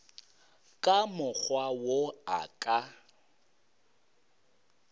ka mokgwa wo a ka